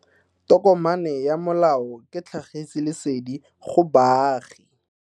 Tokomane ya molao ke tlhagisi lesedi go baagi.